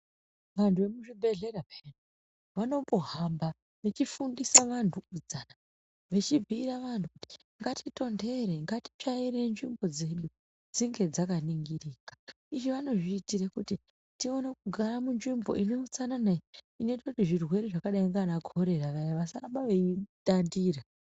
Vandu vemuzvibhedhleya peyaa vanombohamba vechinfundisa vanhu kuti ngatitonder ngatitondere ngatitsvaire nzvimbo dzedu dzinge dzakningirika izvi vanozviitire kuti tigare minzvimbo ine huutsanana kuitire zvirwere vakaita saana korera vasaramba veyitandira.